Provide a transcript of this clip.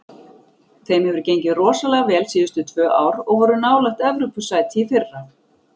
Þeim hefur gengið rosalega vel síðustu tvö ár og voru nálægt Evrópusæti í fyrra.